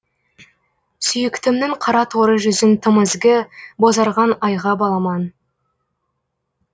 сүйіктімнің қара торы жүзін тым ізгі бозарған айға баламан